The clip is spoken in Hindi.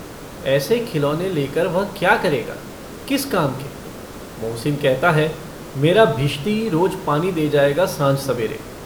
ऐसे खिलौने लेकर वह क्या करेगा? किस काम के? मोहसिन कहता है - मेरा भिश्ती रोज पानी दे जाएगा साँझ-सबेरे।